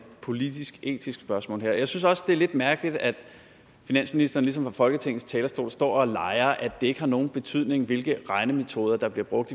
politisk etisk spørgsmål jeg synes også det er lidt mærkeligt at finansministeren ligesom fra folketingets talerstol står og leger at det ikke har nogen betydning hvilke regnemetoder der bliver brugt